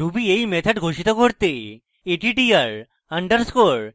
ruby এই methods ঘোষিত করতে attr _